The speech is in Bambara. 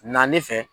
Naani fɛ